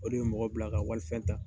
O de bi mɔgɔ bila ka walifɛn ta.